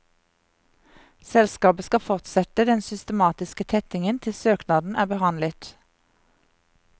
Selskapet skal fortsette den systematiske tettingen til søknaden er behandlet.